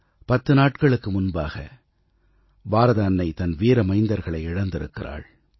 10 நாட்களுக்கு முன்பாக பாரத அன்னை தன் வீர மைந்தர்களை இழந்திருக்கிறாள்